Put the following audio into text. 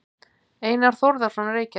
Einar Þórðarson, Reykjavík.